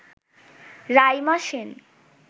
Raima Sen